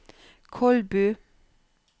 Kolbu